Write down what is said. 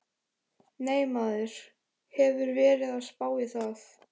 Nei, maður hefur verið að spá í það.